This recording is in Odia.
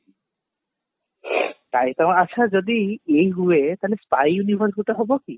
tiger ଅଛ ଯଦି ଇଏ ହୁଏ ତାହେଲେ style ହବ କି